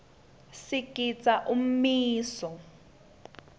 sigidza umiso